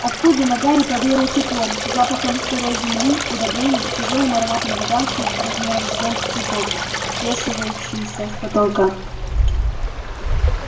оттуда на гарри повеяло теплом запахом сырой земли удобрений тяжёлым ароматом гигантских размером с зонт цветов свешивающихся с потолка